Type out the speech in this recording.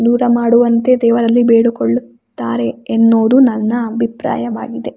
ದೂರ ಮಾಡುವಂತೆ ದೇವರಲ್ಲಿ ಬೇಡಿಕೊಳ್ಳುತ್ತಾರೆ ಎನ್ನುವುದು ನನ್ನ ಅಭಿಪ್ರಾಯವಾಗಿದೆ.